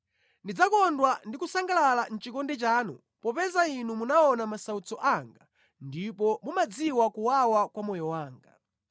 Ndidzakondwa ndi kusangalala mʼchikondi chanu popeza Inu munaona masautso anga ndipo mumadziwa kuwawa kwa moyo wanga.